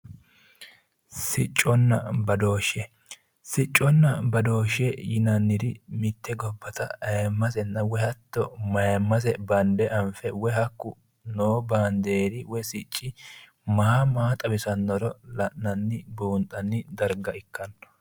Sicconna badooshe, sicconna badoosha yinnanniri gobbatta ayimmaseno woyi mayimase bande anfe woyi hakku noo banderi woyi sicci maa maa xawisanoro la'nanni buunxanniha ikkanno